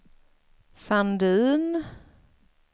Sandin